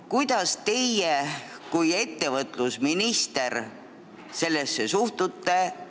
Kuidas teie kui ettevõtlusminister sellesse suhtute?